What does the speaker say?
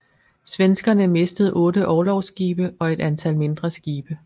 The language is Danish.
Svenskerne mistede otte orlogsskibe og et antal mindre skibe